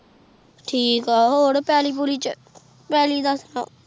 ਠੀਕ ਆਹ ਹੋਰ ਫਲੀ ਪੁਰ ਠੀਕ ਆਹ